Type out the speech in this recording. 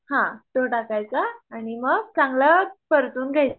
हा तो टाकायचा आणि मग चांगला परतून घ्यायचा